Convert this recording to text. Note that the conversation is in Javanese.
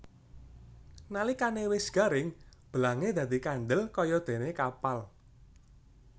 Nalikane wis garing belange dadi kandel kayadene kapal